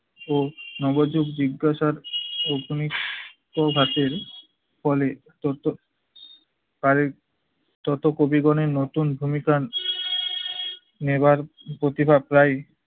ও নবযুগ জিজ্ঞাসার অগ্নি প্রভাতের ফলে তত্ত্ব~ কারের যত কবিগনের নতুন ভূমিকা নেবার প্রতিভা প্রায়ই